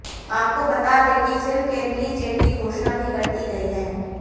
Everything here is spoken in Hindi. आपको बता दें कि फिल्म के रिलीज डेट की घोषणा भी कर दी गई है